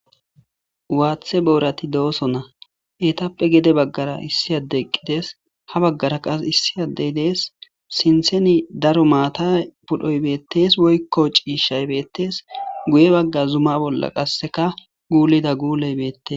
Waththe borati dosoona heyitapoe gede bagara issi adeyi eqideesi ha bagara qase issi adeyi deesi sinthani daro mata pudhdhoyi beteesi woyikko cishshayi betesi guye Zum bola qasekka gullida gulleyi beteesi